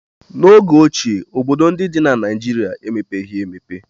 N'oge ochie, obodo ndị dị na Naịjirịa emepeghị emepe.